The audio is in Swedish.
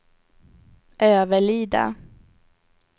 Överlida